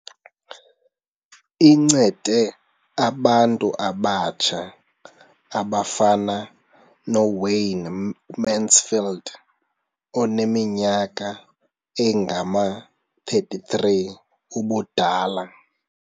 Incede abantu abatsha abafana noWayne Mansfield oneminyaka engama-33 ubudala.